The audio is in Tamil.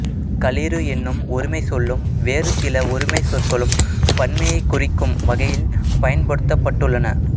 களிறு என்னும் ஒருமைச் சொல்லும் வேறு சில ஒருமைச் சொற்களும் பன்மையைக் குறிக்கும் வகையில் பயன்படுத்தப்பட்டுள்ளன